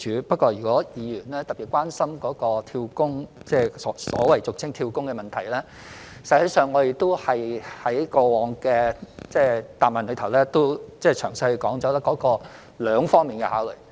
不過，如果議員特別關心所謂"跳工"的問題，其實我們在過往的答覆中曾詳細說明兩方面的考慮。